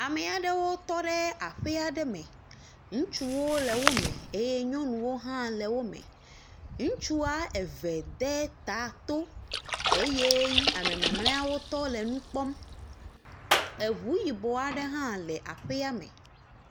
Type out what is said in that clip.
Ame aɖewo tɔ ɖe aƒe aɖe me ŋutsuwo le wo me eye nyɔnuwo hã le wo me, ŋutsua eve de ta to eye ame mamleawo tɔ le nu kpɔm eŋu yibɔ aɖe hã le aƒea me.